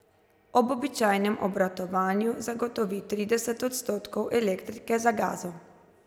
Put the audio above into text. Ob običajnem obratovanju zagotovi trideset odstotkov elektrike za Gazo.